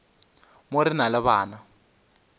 mo re na le bana